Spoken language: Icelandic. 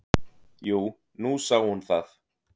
"""Jú, nú sá hún það."""